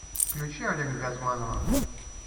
включи олега газманова